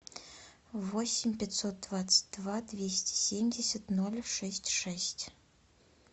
восемь пятьсот двадцать два двести семьдесят ноль шесть шесть